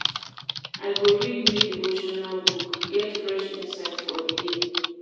I go read new devotional book, get fresh insight for di day.